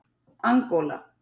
Angóla